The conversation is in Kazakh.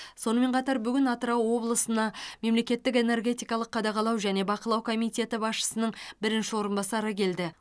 сонымен қатар бүгін атырау облысына мемлекеттік энергетикалық қадағалау және бақылау комитеті басшысының бірінші орынбасары келді